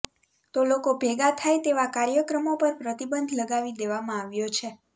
તો લોકો ભેગા થાય તેવા કાર્યક્રમો પર પ્રતિબંધ લગાવી દેવામાં આવ્યો છે